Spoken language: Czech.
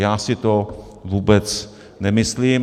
Já si to vůbec nemyslím.